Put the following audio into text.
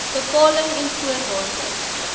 bepalings en voorwaardes